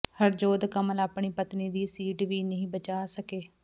ਹਰਜੋਤ ਕਮਲ ਆਪਣੀ ਪਤਨੀ ਦੀ ਸੀਟ ਵੀ ਨਹੀਂ ਬਚਾ ਸਕੇ